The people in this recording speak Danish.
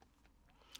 DR1